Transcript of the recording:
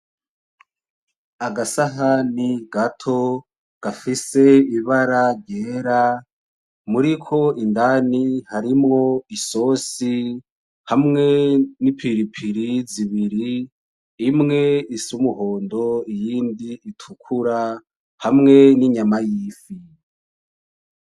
Agasahani gato gafise ibara ryera muriko indani harimwo isosi hamwe n'ipiripiri z'ibiri imwe is'umuhondo iyindi itukura hamwe n'inyama y'ifi.